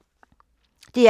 DR P2